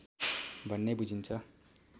भन्ने बुझिन्छ